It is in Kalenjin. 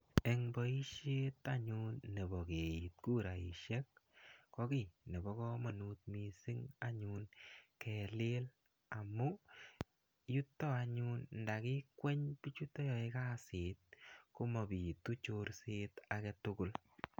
Eng' poishet anyun nepo kiit kuraishek ko ki nepo kamanut kapsa kelil amu yuto anyun nda kikweny pichuto yae kasit ko mapitu chorset age tugul.